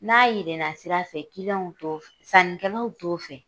N'a yeelena sira fɛ sanikɛlaw t'o fɛ.